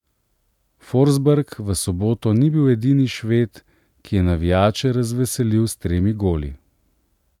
Forsberg v soboto ni bil edini Šved, ki je navijače razveselil s tremi goli.